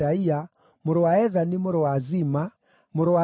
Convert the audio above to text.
mũrũ wa Ethani, mũrũ wa Zima, mũrũ wa Shimei,